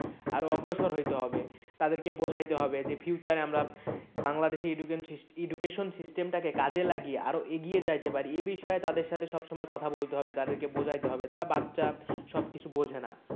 আরো অগ্রসর হইতে হবে তাদেরকে বোঝাইতে হবে যে future এ বাংলাদেশে system education system টাকে কাজে লাগিয়ে আরো এগিয়ে যাইতে পারি এ বিষয়ে তাদের সাথে সব সময় কথা বলতে হবে তাদেরকে বোঝাতে হবে তারা বাচ্চা সব কিছু বোঝেনা।